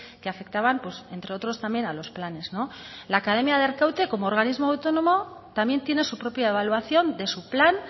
que afectaban pues entre otros también a los planes la academia de arkaute como organismo autónomo también tiene su propia evaluación de su plan